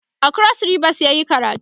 a kros ribas yayi karatu